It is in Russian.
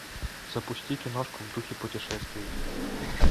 запусти киношку в духе путешествий